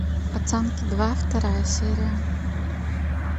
пацанки два вторая серия